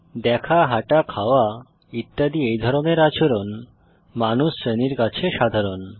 দেখা হাঁটা খাওয়া ইত্যাদি এই ধরনের আচরণ মানুষ শ্রেণীর কাছে সাধারণ